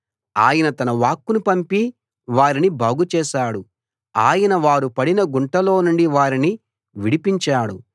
ఆయన తన వాక్కును పంపి వారిని బాగు చేశాడు ఆయన వారు పడిన గుంటల్లో నుండి వారిని విడిపించాడు